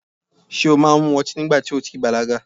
Ṣé o máa mu ọtí nígbà ti o ò tí i bàlágà?